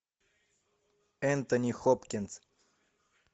энтони хопкинс